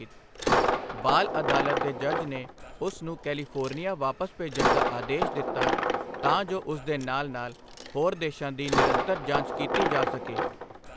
ਬਾਲ ਅਦਾਲਤ ਦੇ ਜੱਜ ਨੇ ਉਸ ਨੂੰ ਕੈਲੀਫੋਰਨੀਆ ਵਾਪਸ ਭੇਜਣ ਦਾ ਆਦੇਸ਼ ਦਿੱਤਾ ਤਾਂ ਜੋ ਉਸ ਦੇ ਨਾਲ ਨਾਲ ਹੋਰ ਦੋਸ਼ਾਂ ਦੀ ਨਿਰੰਤਰ ਜਾਂਚ ਕੀਤੀ ਜਾ ਸਕੇ।